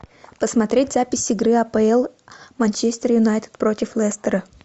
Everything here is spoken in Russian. посмотреть запись игры апл манчестер юнайтед против лестера